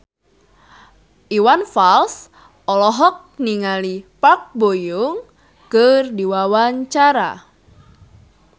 Iwan Fals olohok ningali Park Bo Yung keur diwawancara